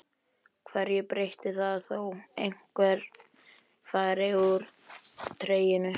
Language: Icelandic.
Hverju breytir það þó einhver fari úr treyjunni?